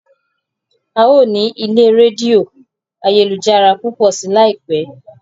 a yóò ní ilè Rédíò ayélujára púpọ sí láìpé